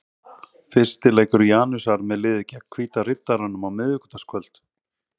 Fyrsti leikur Janusar með liðið er gegn Hvíta Riddaranum á miðvikudagskvöld.